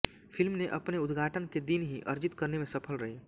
film ने अपने उद्घाटन के दिन ही अर्जित करने में सफल रही